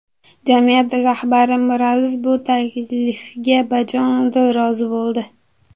Jamiyat rahbari Miraziz bu taklifga bajonidil rozi bo‘ldi.